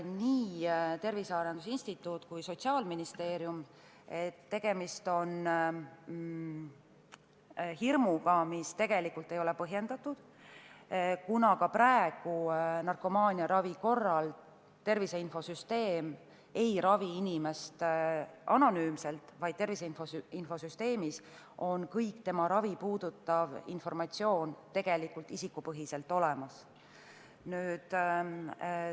Nii Tervise Arengu Instituudi kui ka Sotsiaalministeeriumi esindajad selgitasid, et see hirm ei ole tegelikult põhjendatud, kuna ka praegu ei ravita narkomaaniaravi korral inimest anonüümselt, vaid tervise infosüsteemis on kogu tema ravi puudutav informatsioon isikupõhiselt olemas.